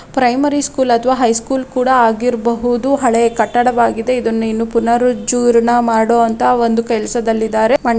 Primary school ಅಥವಾ high school ಕೂಡ ಆಗಿರಬಹುದು ಹಳೆ ಕಟ್ಟಡವಾಗಿದೆ ಇದನ್ನು ಇನ್ನು ಪುನರುಜ್ಜುರ್ಣ ಮಾಡುವಂತಹ ಒಂದು ಕೆಲಸದಲ್ಲಿದ್ದಾರೆ.